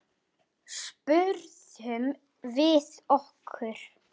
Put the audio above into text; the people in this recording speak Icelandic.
spurðum við okkur.